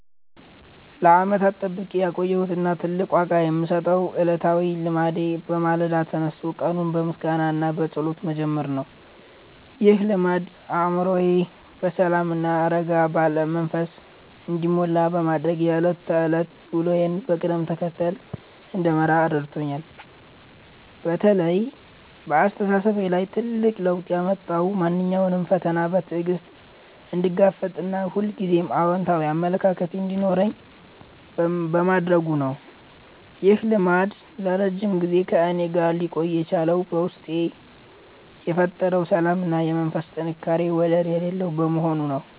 ለዓመታት ጠብቄ ያቆየሁት እና ትልቅ ዋጋ የምሰጠው ዕለታዊ ልማዴ በማለዳ ተነስቶ ቀኑን በምስጋና እና በጸሎት መጀመር ነው። ይህ ልማድ አእምሮዬ በሰላም እና በረጋ መንፈስ እንዲሞላ በማድረግ የዕለት ተዕለት ውሎዬን በቅደም ተከተል እንድመራ ረድቶኛል። በተለይ በአስተሳሰቤ ላይ ትልቅ ለውጥ ያመጣው ማንኛውንም ፈተና በትዕግስት እንድጋፈጥ እና ሁልጊዜም አዎንታዊ አመለካከት እንዲኖረኝ በማድረጉ ነው። ይህ ልማድ ለረጅም ጊዜ ከእኔ ጋር ሊቆይ የቻለው በውስጤ የፈጠረው ሰላም እና የመንፈስ ጥንካሬ ወደር የሌለው በመሆኑ ነው።